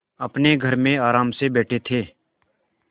अपने घर में आराम से बैठे थे